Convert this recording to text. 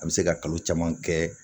A bɛ se ka kalo caman kɛ